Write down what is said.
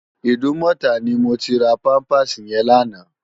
Idúmòtá ni mó ti rá pàmpásí yèn làná